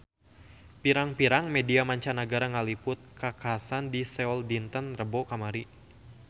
Pirang-pirang media mancanagara ngaliput kakhasan di Seoul dinten Rebo kamari